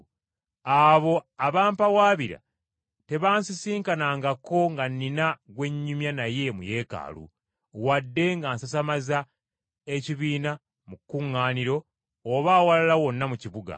Abo abampawaabira tebansisinkanangako nga nnina gwe nnyumya naye mu Yeekaalu, wadde nga nsasamaza ekibiina mu kuŋŋaaniro oba awalala wonna mu kibuga.